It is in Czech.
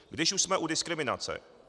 Když už jsme u diskriminace.